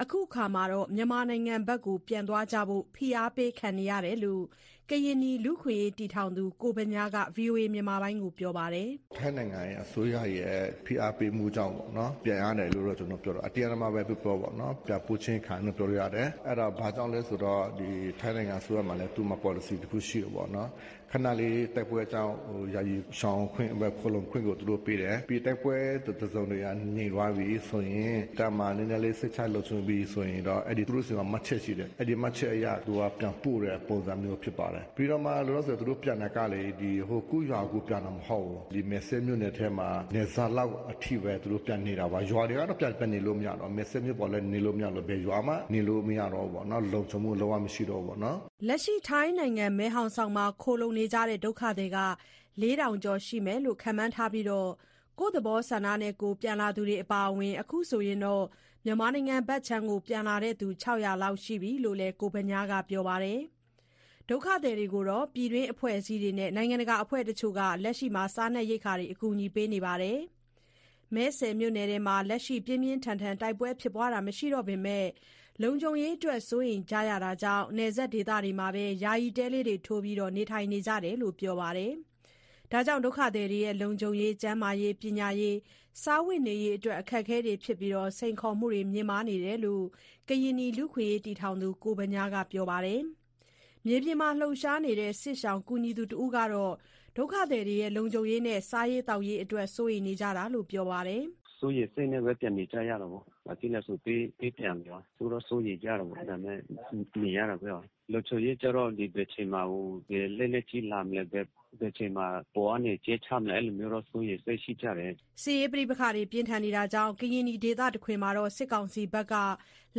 အခုအခါ မြန်မာနိုင်ငံဖက် ပြန်ဖို့ ဖိအားပေးခံနေရတာလို့ ကရင်နီလူ့အခွင့်အရေးတည်ထောင်သူ ကိုဗညားက ပြောပါတယ်။ “ထိုင်းနိုင်ငံအစိုးရရဲ့ ဖိအားပေးမှုကြောင့်ပေါ့နော်။ ပြန်ရတယ်လို့တော့ ကျနော်ပြောတာ အတင်းအဓမ္မပဲပြောပြောပေါ့နော်။ ပြန်ပို့ခြင်းခံရတယ် ပြောလို့ရတယ်။ အဲ့ဒါဘာကြောင့်လဲဆိုတော့ ထိုင်းနိုင်ငံအစိုးရမှာလည်း သူ့မှာပေါ်လစီတခုရှိတယ်ပေါ့နော။ ခဏလေးတိုက်ပွဲကြောင့် ယာယီရှောင်ခွင့်ဘဲ ခိုလှုံခွင့်ကို သူတို့ပေးတယ်။ ပြီးရင် တိုက်ပွဲတစုံတရာပြန်ငြိမ်သွားပြီးဆိုရင် သာမန်နည်းနည်းလေး စိတ်ချလုံခြုံပြီဆိုရင်တော့ အဲ့ဒီသူတို့ဆီမှာ မှတ်ချက်ရှိတယ်။ အဲ့ဒီမှတ်ချက်အရ သူက ပြန်ပို့တဲ့ပုံစံမျိုးဖြစ်ပါတယ်။ ပြီးတော့မှ လောလောဆယ် သူတို့ပြန်တာကလေ ကိုယ့်ရွာကိုယ်ပြန်တာ မဟုတ်ဘူး။ ဒီမယ်စဲ့မြို့နယ်ထဲမှာ နယ်စပ်လောက်အထိပဲ သူတို့ပြန်နေတာပါ။ ရွာတွေကတော့ ပြန်နေလို့မရတော့ မယ်စဲ့မြို့ပေါ်လည်း နေလို့မရတဲ့အပြင် ဘယ်ရွာမှနေလို့ မရတော့ဘူးပေါ့နော် လုံခြုံမှုလုံးဝမရှိတော့ဘူးပေါ့နော်။” ထိုင်းနိုင်ငံ မယ်ဟောင်ဆောင်မှာ ခိုလှုံကြတဲ့ ဒုက္ခသည် ၄၀၀၀ ကျော် ရှိမယ်လို့ ခန့်မှန်းထားပြီး ကိုယ့်သဘောဆန္ဒနဲ့ ပြန်လာသူတွေ အပါအဝင် အခုဆိုရင် မြန်မာနိုင်ငံဖက် ပြန်လာသူ ၆၀၀ လောက် ရှိပြီလို့လည်း ကိုဗညားက ပြောပါတယ်။ ဒုက္ခသည်တွေကိုတော့ ပြည်တွင်းအဖွဲ့အစည်းနဲ့ နိုင်ငံတကာအဖွဲ့တချို့က လက်ရှိ စားနပ်ရိက္ခာကူညီပေးနေပါတယ်။ မယ်စဲ့မြို့နယ်မှာ လက်ရှိ ပြင်းပြင်းထန်ထန်တိုက်ပွဲဖြစ်ပွားတာမရှိတော့ပေမဲ့ လုံခြုံမှုအတွက်တော့ စိုးရိမ်ကြတာကြောင့် နယ်စပ်ဒေသမှာပဲ ယာယီတဲထိုးပြီး နေထိုင်ကြတယ်လို့ ပြောပါတယ်။ ဒုက္ခသည်တွေရဲ့ လုံခြုံရေး၊ ကျန်းမာရေး၊ ပညာရေး၊ စားဝတ်နေရေးတွေအတွက် စိန်ခေါ်မှုမြင့်မားနေတယ်လို့ ကရင်နီလူ့အခွင့်အရေးတည်ထောင်သူ ကိုဗညားက ပြောဆိုပါတယ်။ မြေပြင်မှာ လှုပ်ရှားနေတဲ့ စစ်ရှောင်ကူညီသူတဦးက လုံခြုံးရေးနဲ့ စားရေးသောက်ရေးအတွက် စိုးရိမ်နေကြတာလို့ ပြောပါတယ်။ “စိုးရိမ်စိတ်နဲ့ပဲ ပြန်နေကြရတယ်ပေါ့။ ဘာဖြစ်လဲဆို ပေးပြန်နေတာရော စိုးတော့ စိုးရိမ်ကြတယ်ပေါ့။ ဒါပေမယ့် နေရတာပဲရော။ လုံခြုံးရေးကျတော့ ဘယ်အချိန်မှာ လက်နက်ကြီးလာမလဲ ဘယ်အချိန်မှာ အပေါ်ကနေ ကြဲချမလဲ အဲ့လိုမျိုးစိုးရိမ်စိတ်ရှိကြတယ်။” စစ်ရေးပဋိပက္ခကြောင့် ကရင်နီဒေသတခွင်မှာ စစ်ကောင်စီဘက်က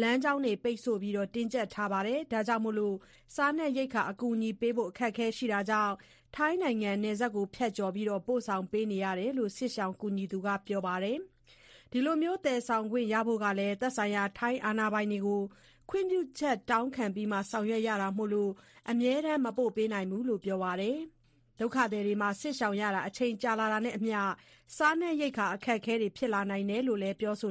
လမ်းကြောင်းပိတ်ဆို့ တင်းကြပ်ထားတာမို့ စားနပ်ရိက္ခာအကူအညီပေးဖို့ အခက်အခဲရှိတာကြောင့် ထိုင်းနိုင်ငံကနေ နယ်စပ်ဖြတ်ကျော်ပြီး ပို့ဆောင်ရတယ်လို့ စစ်ရှောင်ကူညီသူက ပြောပါတယ်။ ဒီလိုသယ်ဆောင်ခွင့်ရဖို့ သက်ဆိုင်ရာ ထိုင်းအာဏာကို ခွင့်ပြုချက်တောင်းခံပြီးမှ ဆောင်ရွက်ရတာမို့ အမြဲတမ်း မပို့ဆောင်နိုင်ဘူးလို့ ပြောပါတယ်။ စစ်ရှောင်ရတာ အချိန်ကြာတာနဲ့အမျှ စားနပ်ရိက္ခာ ခက်ခဲလာနိုင်တယ်လို့ ပြောဆို